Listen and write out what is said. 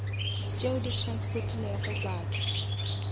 tšeo di transportilego batho